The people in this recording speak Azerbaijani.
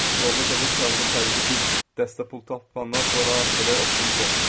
Yolda qəzet kağıza sərili bir dəstə pul tapandan sonra belə optimist olmuşdur.